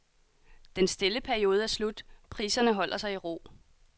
Den stille periode er slut, priserne holder sig i ro.